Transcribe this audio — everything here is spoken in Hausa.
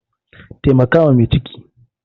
Taimaka wa mai ciki!